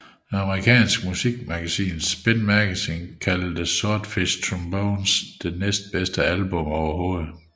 Det amerikanske musikmagasin Spin Magazine kaldte Swordfishtrombones det næstbedste album overhovedet